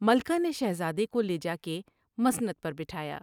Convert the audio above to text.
ملکہ نے شہزادے کو لے جا کے مسند پر بٹھایا ۔